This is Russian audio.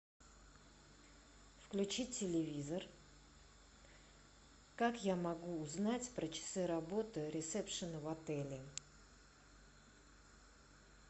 включи телевизор как я могу узнать про часы работы ресепшена в отеле